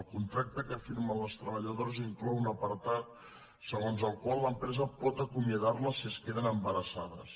el contracte que firmen les treballadores inclou un apartat segons el qual l’empresa pot acomiadarles si es queden embarassades